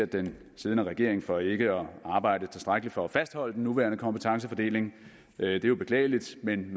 den siddende regering for ikke at arbejde tilstrækkeligt for at fastholde den nuværende kompetencefordeling det er jo beklageligt men